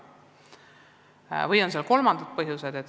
Mängus võivad olla ka muud põhjused.